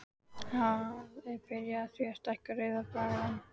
Það er byrjað á því að stækka Rauða braggann.